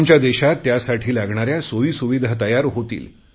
आमच्या देशाला त्यासाठी लागणाऱ्या सोयी सुविधा तयार होतील